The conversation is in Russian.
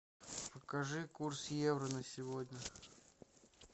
покажи курс евро на сегодня